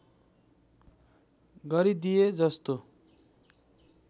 गरी दिए जस्तो